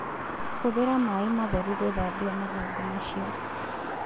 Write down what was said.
Hũthĩra maĩ matheru gũthambia mathangũ macio